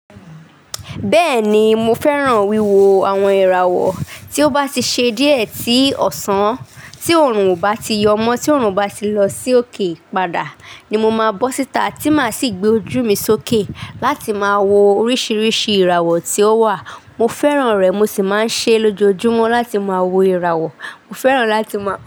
Bẹ́ẹ̀ ni, mo fẹ́ran wíwo àwon ìràwọ̀ tí ó bá ti ṣe díẹ̀ etí ọ̀sán, tí òórùn ò bá ti yọ́ mọ́, tí òórùn ò bá ti lọ sí òkè padà ni mo máa bọ́ síta tí mà sì gbé ojú mi sókè láti máa wo oríṣiríṣi ìràwọ̀ tí ó wà. Mo fẹ́ran rẹ̀ mo sì máa ń ṣe lójoojúmọ́ láti máa wo ìràwọ̀. Mo fẹ́ran láti má.